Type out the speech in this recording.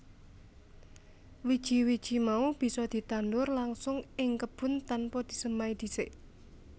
Wiji wiji mau bisa ditandur langsung ing kebun tanpa disemai disik